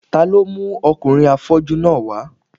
Ta ló mú ọkùnrin afọ́jú náà wá